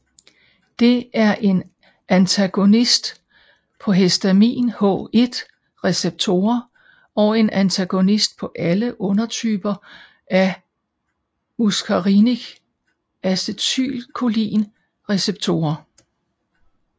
Det er en antagonist på histamin H1 receptorer og en antagonist på alle undertyper af muscarinic acetylcholin receptorer